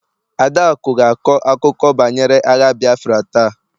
Adaaku ga-akọ akụkọ banyere agha Biafra taa